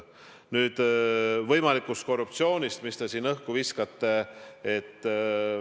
Nüüd võimalikust korruptsioonist, mis te siin õhku viskate.